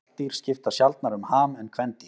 Karldýr skipta sjaldnar um ham en kvendýr.